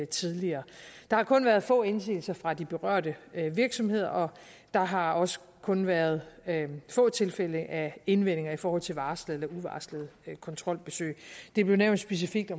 tidligere der har kun været få indsigelser fra de berørte virksomheder og der har også kun været få tilfælde af indvendinger i forhold til varslede eller uvarslede kontrolbesøg det blev nævnt specifikt i